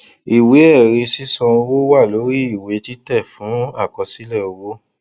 ìwé ẹrí sísan owó wà lórí ìwé títẹ fún àkọsílẹ owó